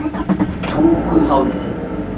Tunguhálsi